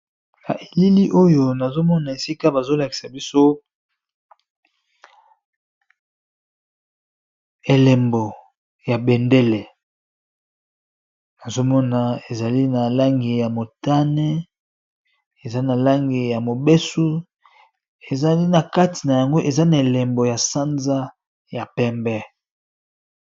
Na elili oyo nazo mona esika bazo lakisa biso elembo ya bendele nazo mona ezali na langi ya motane, eza na langi ya mobesu, ezali na kati na yango eza na elembo ya sanza ya pembe .